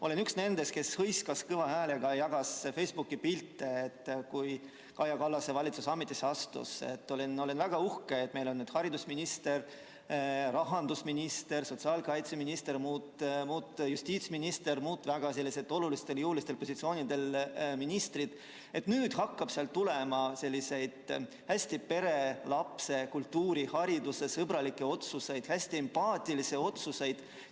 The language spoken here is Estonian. Olen üks nendest, kes hõiskas kõva häälega, jagas Facebooki pilte, kui Kaja Kallase valitsus ametisse astus, olin väga uhke, et meil on nüüd haridusministri, rahandusministri, sotsiaalkaitseministri ja justiitsministri positsioonil, sellistel väga olulistel jõulistel positsioonidel naisministrid, et nüüd hakkab sealt tulema hästi pere‑, lapse‑, kultuuri‑ ja haridussõbralikke otsuseid, hästi empaatilisi otsuseid.